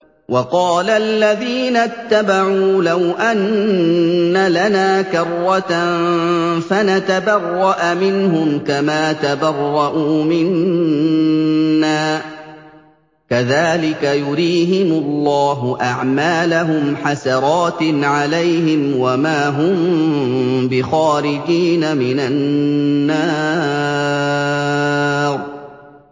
وَقَالَ الَّذِينَ اتَّبَعُوا لَوْ أَنَّ لَنَا كَرَّةً فَنَتَبَرَّأَ مِنْهُمْ كَمَا تَبَرَّءُوا مِنَّا ۗ كَذَٰلِكَ يُرِيهِمُ اللَّهُ أَعْمَالَهُمْ حَسَرَاتٍ عَلَيْهِمْ ۖ وَمَا هُم بِخَارِجِينَ مِنَ النَّارِ